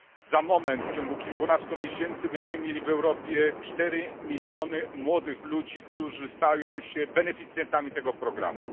Za moment, w ciągu kilkunastu miesięcy będziemy mieli w Europie 4 miliony młodych ludzi, którzy stają się beneficjentami tego programu.